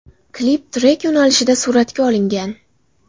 Klip trek yo‘nalishida suratga olingan.